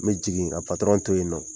Me jigin a to yen nɔ.